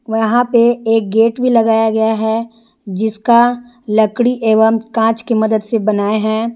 यहाँ पे एक गेट भी लगाया गया है जिसका लकड़ी एवं कांच की मदद से बनाए है।